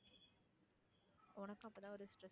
உனக்கும் அப்போ தான் ஒரு stress